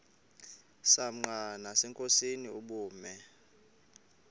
msanqa nasenkosini ubume